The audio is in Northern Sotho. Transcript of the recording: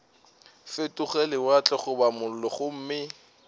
fetoge lewatle goba mollo gomme